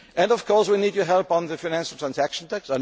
is. And of course we need your help on the Financial Transaction